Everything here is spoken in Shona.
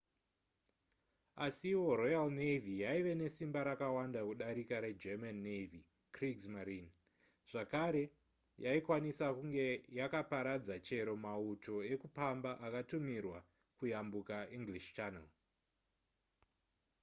asiwo royal navy yaive nesimba rakawanda kudarika regerman navy kriegsmarine zvakare yaikwanisa kunge yakaparadza chero mauto ekupamba akatumirwa kuyambuka english channel